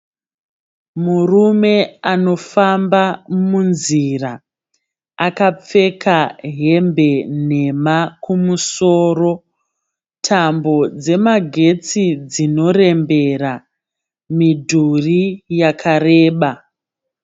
Murume anofamba munzira akapfeka hembe nhema kumusoro. Tambo dzemagetsi dzinorembera. Midhurii yakareba.